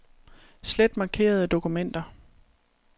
Slet markerede dokumenter.